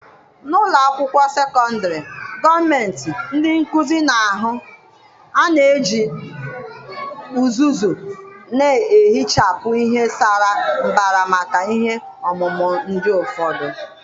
N'ụlọ akwụkwọ sekọndrị gọọmentị, ndị nkuzi na-ahụ A na-eji uzuzu na-ehichapụ ihe sara mbara maka ihe ọmụmụ ndị ụfọdụ.